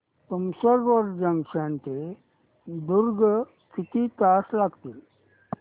Tumsar road junction ते दुर्ग किती तास लागतील